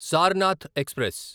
Sarnath express